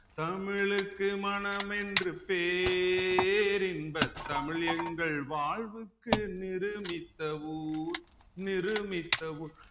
தமிழுக்கு மனமென்று பேரின்ப தமிழ் எங்கள் வாழ்வுக்கு நிருமித்த ஊர் நிருமித்த ஊ